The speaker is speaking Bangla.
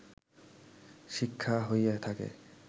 শিক্ষা হইয়া থাকে